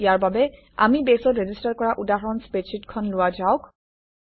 ইয়াৰ বাবে আমি বেছত ৰেজিষ্টাৰ কৰা উদাহৰণ স্প্ৰেডশ্বিটখন লোৱা যাওক